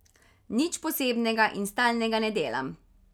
Nič posebnega in stalnega ne delam.